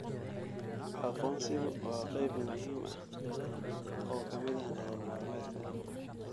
Aqoonsigu waa qayb muhiim ah oo ka mid ah nolol maalmeedka.